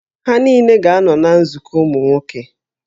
Ha niile ga-anọ na nzukọ ụmụ nwoke